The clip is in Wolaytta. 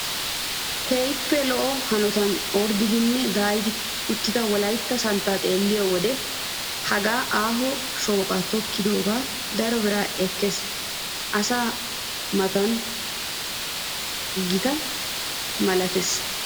Keehippe lo"o hanotan orddidine daayidi uttida wolaytta santtaa xeelliyoo wode hagaadan aaho shooqan tokettikko daro biraa ekkees asaa matan getetti malettees.